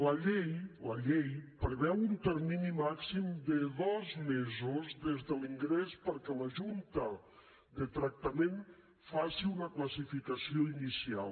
la llei la llei preveu un termini màxim de dos mesos des de l’ingrés perquè la junta de tractament faci una classificació inicial